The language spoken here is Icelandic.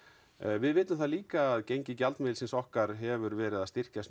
við vitum það líka að gengi gjaldmiðilsins okkar hefur verið að styrkjast